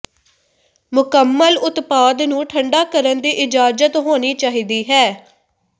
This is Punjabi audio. ਮੁਕੰਮਲ ਉਤਪਾਦ ਨੂੰ ਠੰਢਾ ਕਰਨ ਦੀ ਇਜਾਜ਼ਤ ਹੋਣੀ ਚਾਹੀਦੀ ਹੈ